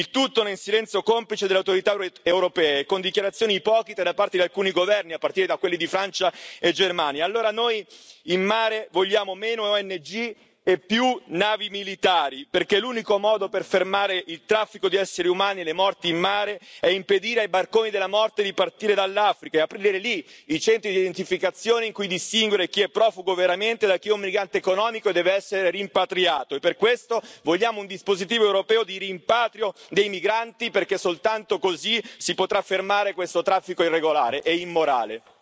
Il tutto nel silenzio complice delle autorità europee e con dichiarazioni ipocrite da parte di alcuni governi, a partire da quelli di Francia e Germania. Allora noi in mare vogliamo meno ONG e più navi militari, perché l'unico modo per fermare il traffico di esseri umani e le morti in mare è impedire ai barconi della morte di partire dall'Africa e aprire lì i centri di identificazione in cui distinguere chi è profugo veramente da chi è un brigante economico e deve essere rimpatriato, e per questo vogliamo un dispositivo europeo di rimpatrio dei migranti, perché soltanto così si potrà fermare questo traffico irregolare e immorale.